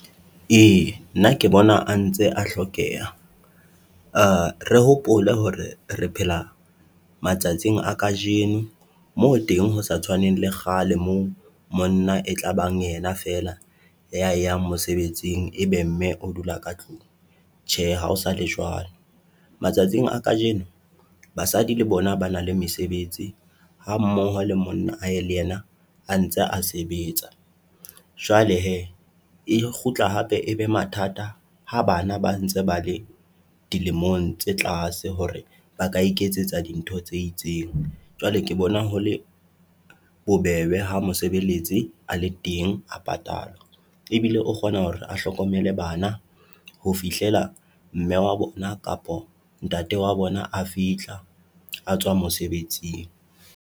E, nna ke bona a ntse a hlokeha. Re hopole hore re phela matsatsing a kajeno moo teng ho sa tshwaneng le kgale moo monna e tlabang yena feela ya yang mosebetsing ebe mme o dula ka tlung, tjhe ha ho sale jwalo. Matsatsing a kajeno basadi le bona ba na le mesebetsi ha mmoho le monna a ye le yena a ntse a sebetsa. Jwale he, e kgutla hape ebe mathata ha bana ba ntse ba le dilemong tse tlase hore ba ka iketsetsa dintho tse itseng. Jwale ke bona hole bobebe ha mosebeletsi a le teng a patalwa ebile o kgona hore a hlokomele bana ho fihlela mme wa bona kapo ntate wa bona a fihla a tswa mosebetsing.